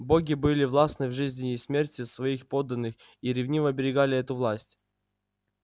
боги были властны в жизни и смерти своих подданных и ревниво оберегали эту власть